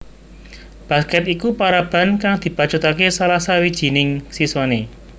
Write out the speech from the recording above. Basket iku paraban kang dibacutake salah sawijining siswane